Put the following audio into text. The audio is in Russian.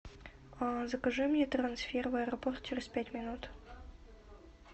закажи мне трансфер в аэропорт через пять минут